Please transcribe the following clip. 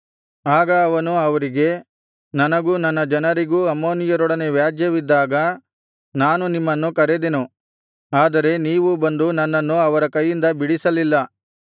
ಆಗ ಅವನು ಅವರಿಗೆ ನನಗೂ ನನ್ನ ಜನರಿಗೂ ಅಮ್ಮೋನಿಯರೊಡನೆ ವ್ಯಾಜ್ಯವಿದ್ದಾಗ ನಾನು ನಿಮ್ಮನ್ನು ಕರೆದೆನು ಆದರೆ ನೀವು ಬಂದು ನನ್ನನ್ನು ಅವರ ಕೈಯಿಂದ ಬಿಡಿಸಲಿಲ್ಲ